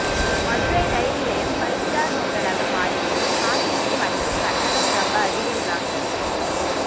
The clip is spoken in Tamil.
மதுரை ரயில் நிலையம் ஃ பைவ் ஸ்டார் ஹோட்டலாக மாறியது காத்திருக்கும் அறைக்கு கட்டணம் ரொம்ப அதிகம்தாங்க